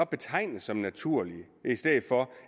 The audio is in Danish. betegnes som naturlige i stedet for